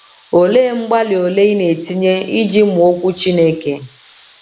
Olee mgbalị ole i na-etinye iji mụọ okwu Chineke?